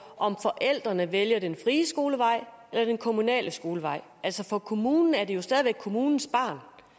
om forældrene vælger den frie skolevej eller den kommunale skolevej for kommunen er det jo altså stadig væk kommunens barn